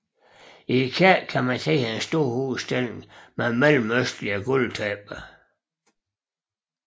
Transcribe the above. I kirken kan man se en stor udstilling med mellemøstlige gulvtæpper